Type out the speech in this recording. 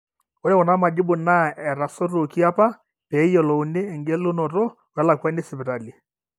ore kuna majibu naa etasotuoki apa pee eyiolouni eng'elunoto welakwani esipitali